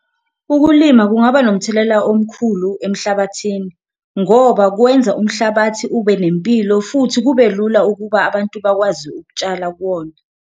Ukulima kungaba nomthelela omkhulu emhlabathini ngoba kwenza umhlabathi ube nempilo futhi kube lula ukuba abantu bakwazi ukutshala kuwona.